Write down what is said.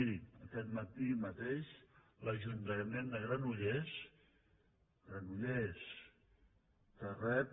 miri aquest matí mateix l’ajuntament de granollers granollers que rep